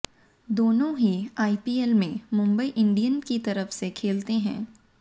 दोनों ही आईपीएल में मुंबई इंडियंस की तरफ से खेलते हैं